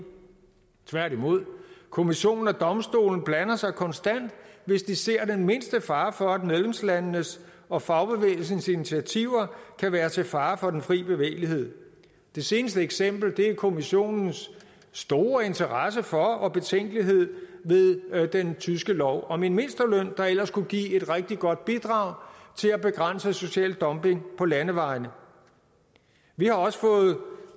tværtimod kommissionen og domstolen blander sig konstant hvis de ser den mindste fare for at medlemslandenes og fagbevægelsens initiativer kan være til fare for den fri bevægelighed det seneste eksempel er kommissionens store interesse for og betænkelighed ved den tyske lov om en mindsteløn der ellers kunne give et rigtig godt bidrag til at begrænse social dumping på landevejen vi har også fået